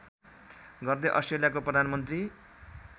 गर्दै अस्ट्रेलियाको प्रधानमन्त्री